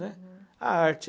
né. A arte.